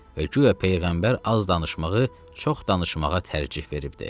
Və guya peyğəmbər az danışmağı çox danışmağa tərcəh veribdir.